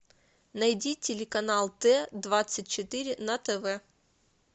найди телеканал т двадцать четыре на тв